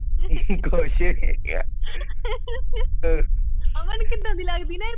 ਕੁਛ ਨਹੀਂ ਕਿਹਾ